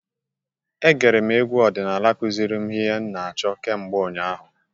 Egere m egwu ọdịnala kwụziri ihe m na-achọ kemgbe ụnyaahụ.